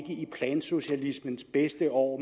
i plansocialismens bedste år